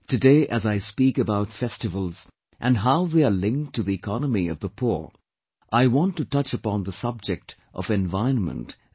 Today as I speak about festivals and how they are linked to the economy of the poor, I want to touch upon the subject of environment as well